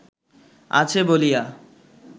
আছে বলিয়া